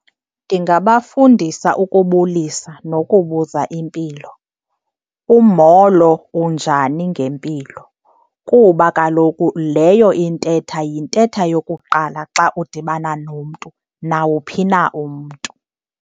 Ndingabafundisa ukubulisa nokubuza impilo. Umolo, unjani ngempilo, kuba kaloku leyo intetha yintetha yokuqala xa udibana nomntu nawuphi na umntu.